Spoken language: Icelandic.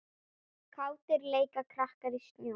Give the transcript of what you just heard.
Kátir leika krakkar í snjó.